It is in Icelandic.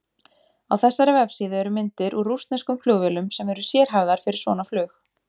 Á þessari vefsíðu eru myndir úr rússneskum flugvélum sem eru sérhæfðar fyrir svona flug.